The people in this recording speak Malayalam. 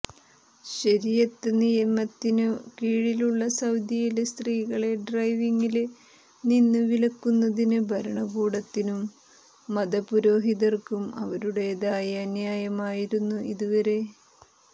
ശരിയത്ത് നിയമത്തിനു കീഴിലുള്ള സൌദിയില് സ്ത്രീകളെ ഡ്രൈവിംഗില് നിന്നു വിലക്കുന്നതിന് ഭരണകൂടത്തിനും മതപുരോഹിതര്ക്കും അവരുടെതായ ന്യായമായിരുന്നു ഇതുവരെ